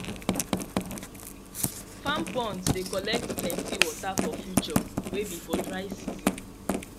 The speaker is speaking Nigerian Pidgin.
farm ponds de collect plenty water for future wey be for dry season